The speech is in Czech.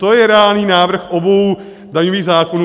To je reálný návrh obou daňových zákonů.